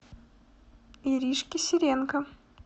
иришке сиренко